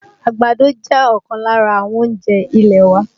Àgbàdo jẹ́ ọ̀kan lára àwọn oúnjẹ ilẹ̀ wa